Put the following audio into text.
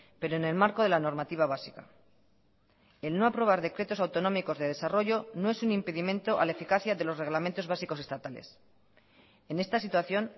pero en el marco de la normativa básica el no aprobar decretos autonómicos de desarrollo no es un impedimento a la eficacia de los reglamentos básicos estatales en esta situación